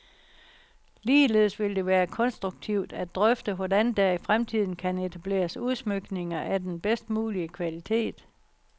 Ligeledes vil det være konstruktivt at drøfte, hvordan der i fremtiden kan etableres udsmykninger af den bedst mulige kvalitet.